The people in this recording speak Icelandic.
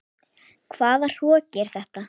Hvaða hroki er þetta?